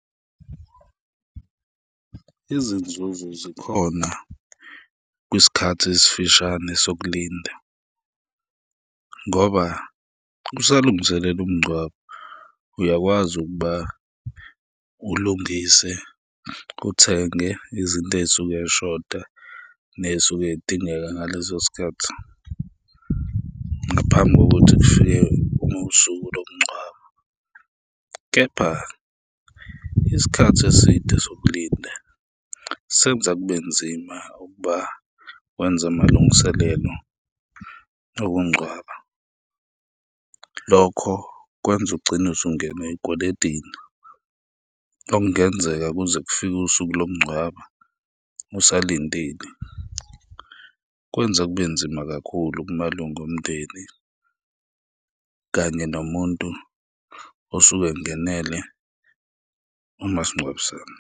Izinzuzo zikhona kwisikhathi esifishane sokulinda ngoba kusalungiselelwa umngcwabo, uyakwazi ukuba ulungise, uthenge izinto ey'suke zishoda ney'suke zidingeka ngaleso sikhathi ngaphambi kokuthi kufike ngosuku lomngcwabo. Kepha isikhathi eside sokulinda senza kube nzima ukuba wenze amalungiselelo okungcwaba, lokho kwenza ugcine usungena ey'kweledini, okungenzeka kuze kufike usuku lokungcwaba usalindile, kwenza kubenzima kakhulu kumalunga omndeni kanye nomuntu osuke engenele umasingcwabisane.